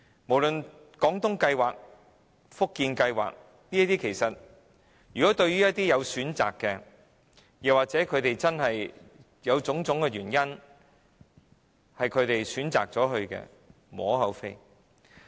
無論是"廣東計劃"、"福建計劃"，對於一些真的有種種原因而選擇前往該處居住的長者而言，是無可厚非的。